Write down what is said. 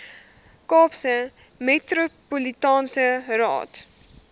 kaapse metropolitaanse raad